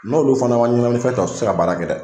N'olu fana ma ɲɛnaminifɛn ta, u ti se ka baara kɛ dɛ